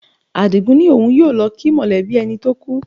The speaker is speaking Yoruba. Àdìgún ní òun yóò lọ kí mọ̀lẹ́bí ẹni tó kú